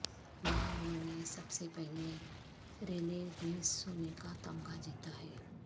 وہاں انہوں نے سب سے پہلے ریلے ریس سونے کا تمغہ جیتا ہے